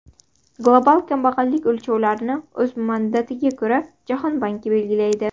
Global kambag‘allik o‘lchovlarini o‘z mandatiga ko‘ra, Jahon banki belgilaydi.